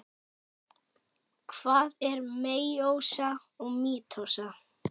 Hvað er meiósa og mítósa?